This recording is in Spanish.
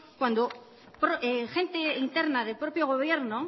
cuando gente interna del propio gobierno